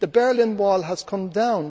The Berlin Wall has come down